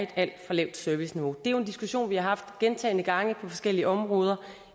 alt for lavt serviceniveau det er jo en diskussion vi har haft gentagne gange på forskellige områder